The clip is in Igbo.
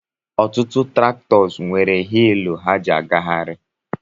Ọtụtụ traktọ nwere wiilù ha ji agahari